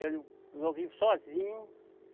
Eu não, eu vivo sozinho.